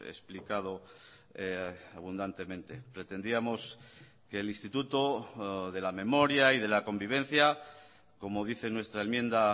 explicado abundantemente pretendíamos que el instituto de la memoria y de la convivencia como dice nuestra enmienda